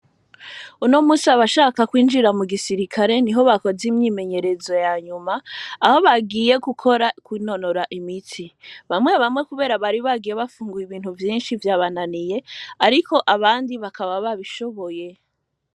Uno musi abashaka kwijira mugisirikare niho bakoze imyimenyerezo yanyuma aho bagiye kwinonora imitsi, bamwe bamwe kubera bari bagiye bafunguye ibintu vyinshi vyabananiye, ariko abandi bakaba babishoboye.